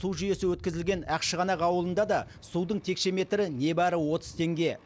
су жүйесі өткізілген ақшығанақ ауылында да судың текше метрі небары отыз теңге